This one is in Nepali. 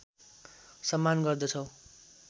सम्मान गर्दछौँ